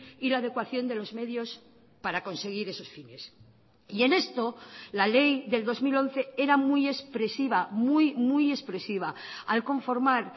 y la adecuación de los medios para conseguir esos fines y en esto la ley del dos mil once era muy expresiva muy muy expresiva al conformar